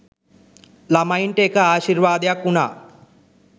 ළමයින්ට ඒක ආශීර්වාදයක් වුනා.